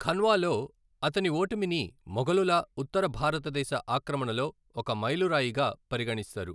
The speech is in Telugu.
ఖన్వాలో అతని ఓటమిని మొఘలుల ఉత్తర భారతదేశ ఆక్రమణలో ఒక మైలురాయిగా పరిగణిస్తారు.